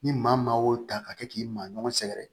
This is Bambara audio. Ni maa maa o ta ka kɛ k'i maa ɲɔgɔn sɛgɛrɛ